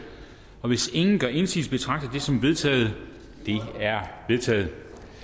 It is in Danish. hvis ingen gør indsigelse betragter jeg det som vedtaget det er vedtaget